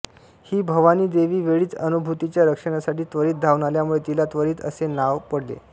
ही भवानी देवी वेळीच अनुभूतीच्या रक्षणासाठी त्वरित धावून आल्यामुळे तिला त्वरिता असे नाव पडले